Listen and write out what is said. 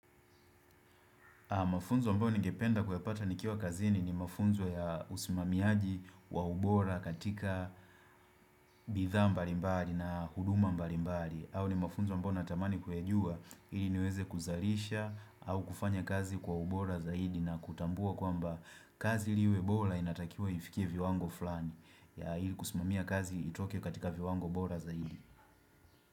Mafunzo ambayo ningependa kuyapata nikiwa kazini ni mafunzo ya usimamiaji wa ubora katika bidhaa mbalimbali na huduma mbalimbali. Au ni mafunzo ambao natamani kuyajua ili niweze kuzalisha au kufanya kazi kwa ubora zaidi na kutambua kwamba kazi liwe bora inatakiwa ifikie viwango fulani. Ya hii kusimamia kazi itoke katika viwango bora zaidi.